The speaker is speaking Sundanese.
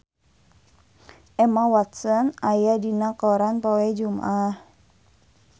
Emma Watson aya dina koran poe Jumaah